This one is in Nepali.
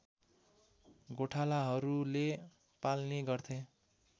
गोठालाहरूले पाल्ने गर्थे